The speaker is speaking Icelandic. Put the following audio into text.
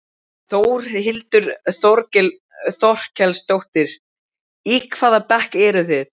Þórhildur Þorkelsdóttir: Í hvaða bekk eruð þið?